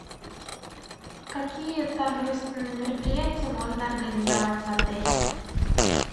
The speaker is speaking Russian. какие торжественные мероприятия можно организовать в отеле